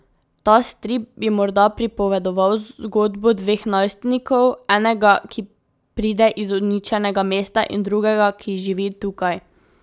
Ta strip bi morda pripovedoval zgodbo dveh najstnikov, enega, ki pride iz uničenega mesta, in drugega, ki živi tukaj.